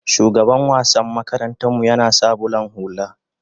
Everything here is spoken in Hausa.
shugaban wassan makaranta mu yana sa bulan hulla